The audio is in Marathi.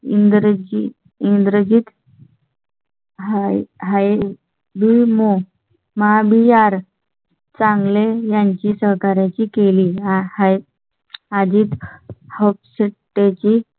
. इंद्रजित इंद्रजित. हाय हाय महा बिहार. चांगलें यांची सहकार्या ची केली आहे अजित. ची